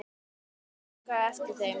Óskaði eftir þeim?